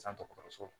San dɔgɔtɔrɔso la